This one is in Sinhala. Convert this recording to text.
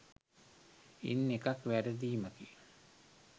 ඉන් එකක් වැරදීමකි